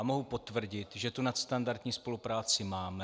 A mohu potvrdit, že tu nadstandardní spolupráci máme.